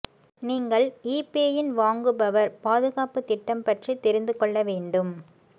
நீங்கள் ஈபேயின் வாங்குபவர் பாதுகாப்பு திட்டம் பற்றி தெரிந்து கொள்ள வேண்டும்